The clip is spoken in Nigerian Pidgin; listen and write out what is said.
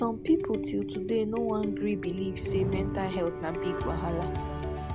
som pipo til today no wan gree belief say mental health na big wahala